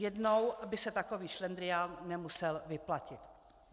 Jednou by se takový šlendrián nemusel vyplatit.